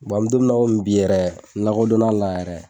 an bɛ don min na i komi bi yɛrɛ n lakodonna a la yɛrɛ.